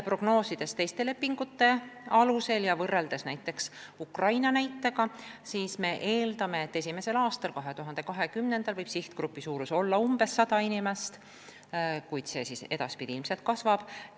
Prognoosides teiste lepingute alusel ja võrreldes näiteks Ukrainaga, me eeldame, et esimesel aastal, aastal 2020 võib sihtgrupi suurus olla umbes 100 inimest, kuid edaspidi see ilmselt kasvab.